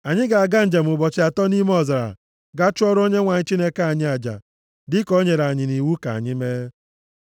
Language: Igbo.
Anyị ga-aga njem ụbọchị atọ nʼime ọzara gaa chụọrọ Onyenwe anyị Chineke anyị aja, dịka o nyere anyị iwu ka anyị mee.”